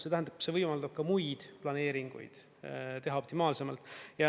See tähendab, see võimaldab ka muid planeeringuid teha optimaalsemalt.